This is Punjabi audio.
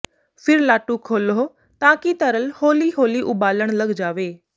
ਫਿਰ ਲਾਟੂ ਖੋਲ੍ਹੋ ਤਾਂ ਕਿ ਤਰਲ ਹੌਲੀ ਹੌਲੀ ਉਬਾਲਣ ਲੱਗ ਜਾਵੇ